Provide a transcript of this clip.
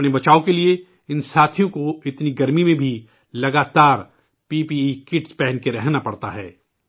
اپنی حفاظت کے لیے ان ساتھیوں کو اتنی گرمی میں بھی لگاتار پی پی ای کٹ پہن کے ہی رہنا پڑتا ہے